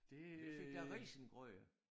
Du fik da risengrød